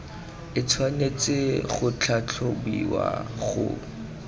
e tshwanetse go tlhatlhobiwa go